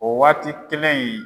O waati kelen in